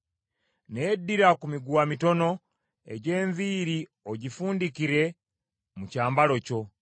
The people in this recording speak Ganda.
Naye ddira ku miguwa mitono, egy’enviiri ogifundikire mu kyambalo kyo.